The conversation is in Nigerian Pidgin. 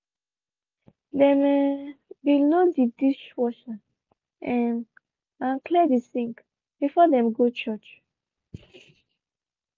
dem um be load de dishwasher um and clear de sink before dem go church.